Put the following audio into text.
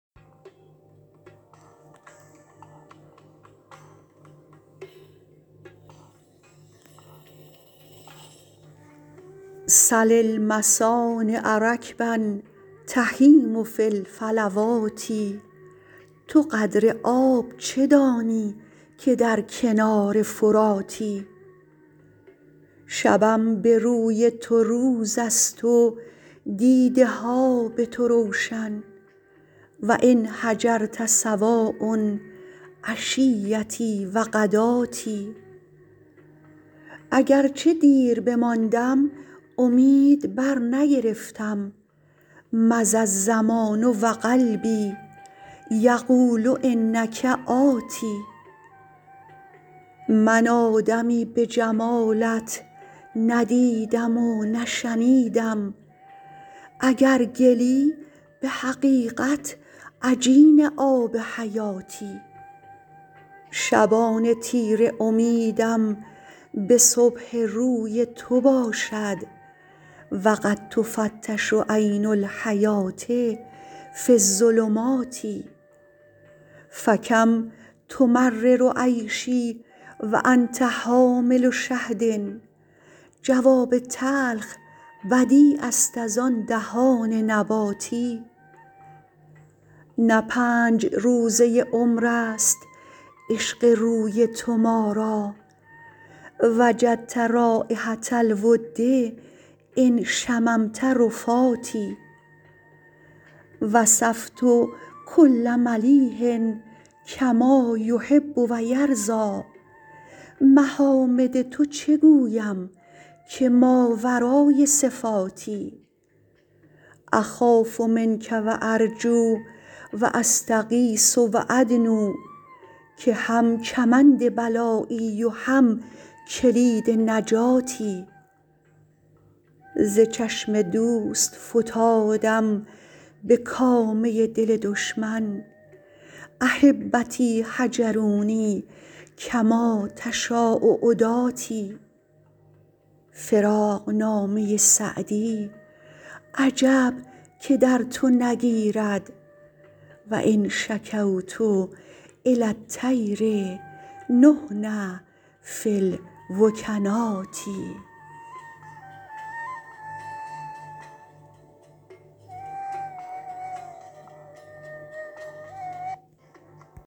سل المصانع رکبا تهیم فی الفلوات تو قدر آب چه دانی که در کنار فراتی شبم به روی تو روز است و دیده ها به تو روشن و إن هجرت سواء عشیتي و غداتي اگر چه دیر بماندم امید برنگرفتم مضی الزمان و قلبي یقول إنک آت من آدمی به جمالت نه دیدم و نه شنیدم اگر گلی به حقیقت عجین آب حیاتی شبان تیره امیدم به صبح روی تو باشد و قد تفتش عین الحیوة في الظلمات فکم تمرر عیشي و أنت حامل شهد جواب تلخ بدیع است از آن دهان نباتی نه پنج روزه عمر است عشق روی تو ما را وجدت رایحة الود إن شممت رفاتي وصفت کل ملیح کما یحب و یرضیٰ محامد تو چه گویم که ماورای صفاتی أخاف منک و أرجو و أستغیث و أدنو که هم کمند بلایی و هم کلید نجاتی ز چشم دوست فتادم به کامه دل دشمن أحبتي هجروني کما تشاء عداتي فراقنامه سعدی عجب که در تو نگیرد و إن شکوت إلی الطیر نحن في الوکنات